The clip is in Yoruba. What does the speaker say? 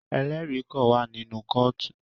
Ẹlẹri kàn wà nínú kootu